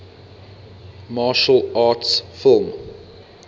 martial arts film